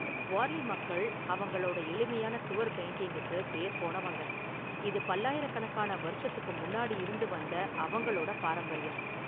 வார்லி மக்கள் அவங்களோட​ எளிமையான​ சுவர் பெயிண்டிங்குக்கு பேர்போனவங்க, இது பல்லாயிரக்கணக்கான​ வருஷத்துக்கு முன்னாடி​ இருந்து வந்த அவங்களோட பாரம்பரியம்.